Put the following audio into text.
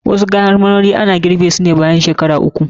Wasu kayan marmari ana girɓe su ne bayan shekaru uku.